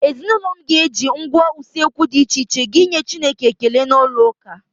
Ezinụlọ m ga-eji ngwá usekwu dị iche iche ịga ịnye chineke ekele n'ụlọụka.